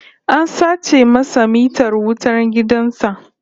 An sace masa mitar wutan gidan sa